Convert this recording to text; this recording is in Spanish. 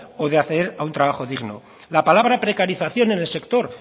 o de acceder a un trabajo digno la palabra precarización en el sector